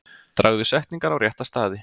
Dragðu setningar á rétta staði.